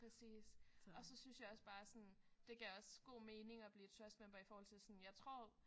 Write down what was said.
Præcis og så synes jeg også bare sådan det gav også god mening at blive trust member i forhold til sådan jeg tror